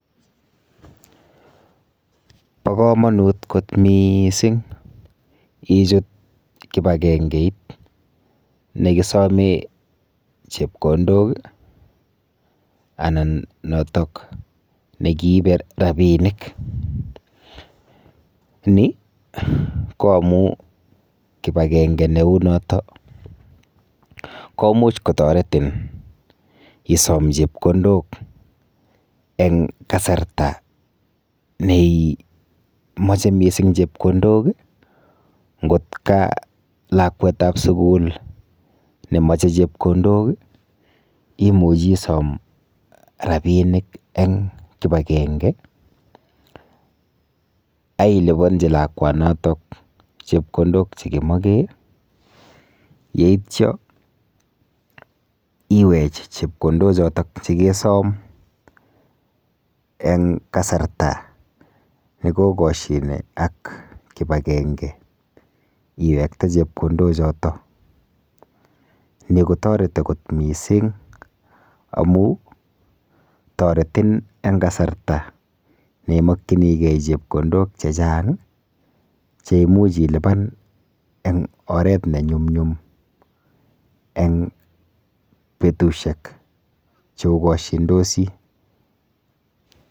Po komonut kot miising ichut kipakengeit nekisome chepkondok anan notok nekiipe rapiiinik. Ni ko amu kipakenge neu noto komuch kotoretin isom chepkondok eng kasarta neimoche mising chepkondok nkot ka lakwetap sugul nekameche chepkondok imuchi isom rapiinik eng kipakenge ailiponji lakwanotok chepkondok chekimoche yeityo iwech chepkondok chotok chikesom eng kasarta nekokoshine ak kipakenge iwekte chepkondochoto. Ni kotoreti kot miising amu toretin eng kasarta neimokchinigei chgepkondok chechang cheimuch ilipan eng oret nenyumnyum eng betushek cheokoshindosi.